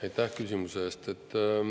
Aitäh küsimuse eest!